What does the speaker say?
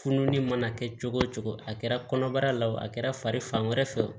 Fununi mana kɛ cogo o cogo a kɛra kɔnɔbara la wo a kɛra fari fan wɛrɛ fɛ o